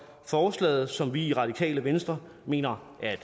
forslaget som vi i radikale venstre mener er et